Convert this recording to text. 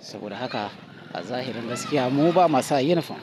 Saboda haka a zahirin gaskiya, mu ba ma sa yunifom.